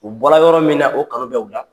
U bɔla yɔrɔ min na, o kanu bɛ o la.